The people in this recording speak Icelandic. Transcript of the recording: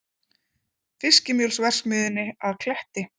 Fiskimjölsverksmiðjunni að Kletti.